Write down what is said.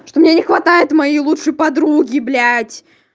что мне не хватает моей лучшей подруги блять